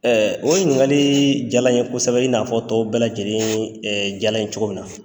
o ye ɲininkali jala n ye kosɛbɛ in n'a fɔ tɔw bɛɛ lajɛlen jala n cogo min na.